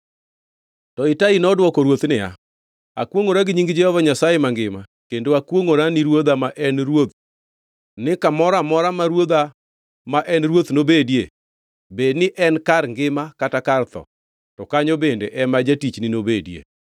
To Itai nodwoko ruoth niya, “Akwongʼora gi nying Jehova Nyasaye mangima kendo akwongʼora ni ruodha ma en ruoth ni kamoro amora ma ruodha ma en ruoth nobedie, bed ni en kar ngima kata kar tho, to kanyo bende ema jatichni nobedie.”